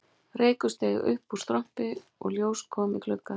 Reykur steig upp úr strompi og ljós kom í glugga